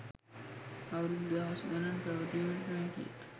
අවුරුදු දහස් ගණන් පැවතීමට නොහැකිය.